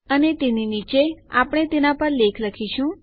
અને તેની નીચે આપણે તેના પર લેખ લખીશું